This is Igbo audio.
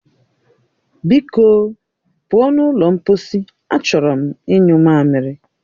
Biko o, pụọ n'ụlọ mposi, achọrọ m inyu mamiri